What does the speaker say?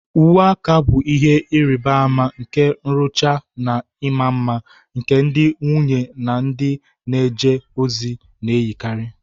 Uwe aka bụ ihe nrịbama nke nrụcha na ịma mma, nke ndị nwunye na ndị na-eje ozi na-eyikarị.